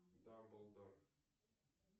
дамблдор